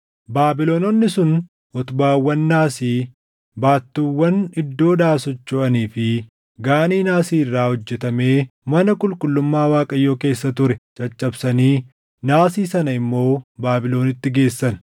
Baabilononni sun utubaawwan naasii, baattuuwwan iddoodhaa sochoʼanii fi Gaanii naasii irraa hojjetamee mana qulqullummaa Waaqayyoo keessa ture caccabsanii naasii sana immoo Baabilonitti geessan.